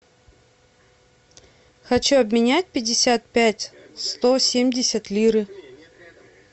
хочу обменять пятьдесят пять сто семьдесят лиры